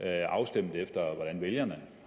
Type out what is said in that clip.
er afstemt efter hvordan vælgerne